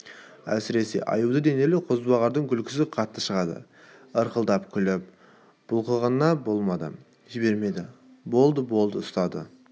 әсіресе аю денелі қозбағардың күлкісі қатты шығады ырқылдап күліп бұлқынғанына болмады жібермеді болды болды ұстады